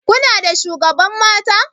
Kuna da shugaban mata?